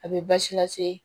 A bɛ baasi lase